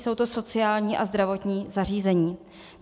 Jsou to sociální a zdravotní zařízení.